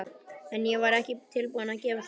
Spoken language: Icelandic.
En ég var ekki tilbúin að gefast upp.